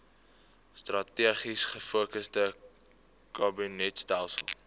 strategies gefokusde kabinetstelsel